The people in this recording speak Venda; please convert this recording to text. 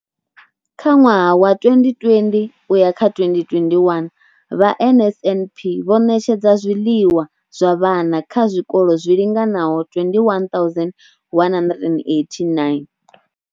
Kha ṅwaha wa 2020 u ya kha 2021, vha NSNP vho ṋetshedza zwiḽiwa zwa vhana kha zwikolo zwi linganaho 21 189.